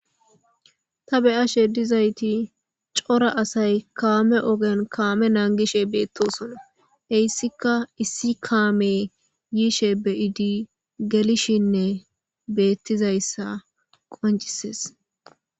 Ta be'ashe dizayti cora asay kame ogen kame nangishe betosona heysika issi kame yishe be'idi gelishene betizaysi qoncises